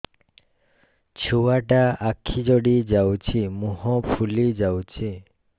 ଛୁଆଟା ଆଖି ଜଡ଼ି ଯାଉଛି ମୁହଁ ଫୁଲି ଯାଉଛି